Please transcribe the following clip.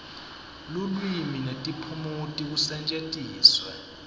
lulwimi netiphumuti kusetjentiswe